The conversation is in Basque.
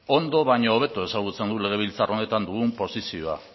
ondo baino hobeto ezagutzen dut legebiltzar honetan dugun posizioa